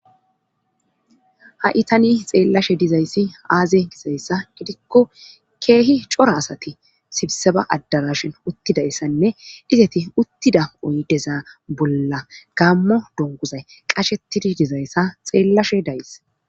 ha itani xeellashe dizayssi aaze gizayssa gidikko keehi cora asati sibseba addarashin uttidayssanne izeti uttida oydeza bolla gammo donguzay qashetidi dizayssa xeellashe days